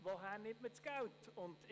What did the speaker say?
Woher nimmt man das Geld dafür?